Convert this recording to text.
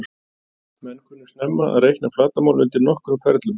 Menn kunnu snemma að reikna flatarmál undir nokkrum ferlum.